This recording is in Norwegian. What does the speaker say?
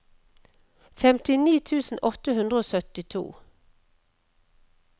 femtini tusen åtte hundre og syttito